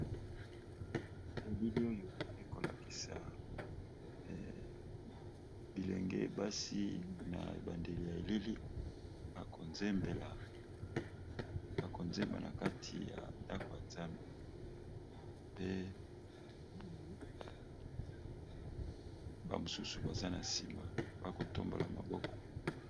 Elili oyo eko lakisa bilenge basi na ebandeli ya elili ako nzembela ako nzemba na kati ya ndako ya nzambe, pe ba mosusu baza na nsima ba ko tombola maboko.